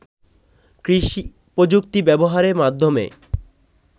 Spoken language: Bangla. কৃষি-প্রযুক্তি ব্যবহারের মাধ্যমে